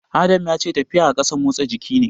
Adam ya ce tafiya a ƙasa motsa jiki ne.